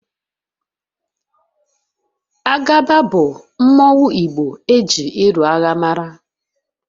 Agaba bu mmanwu igbo eji ịlụ agha mara